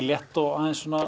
létt og